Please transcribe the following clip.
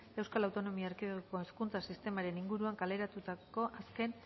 euskal autonomia erkidegoko hezkuntza sistemaren inguruan kaleratutako azken